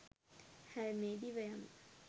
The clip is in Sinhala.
හැල්මේ දිව යමු.